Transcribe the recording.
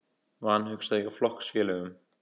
Vanhugsað hjá flokksfélögum